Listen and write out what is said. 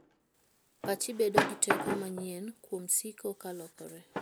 Pachi bedo gi teko manyien kuom siko ka lokore.